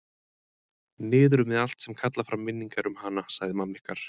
Niður með allt sem kallar fram minningar um hana, sagði mamma ykkar.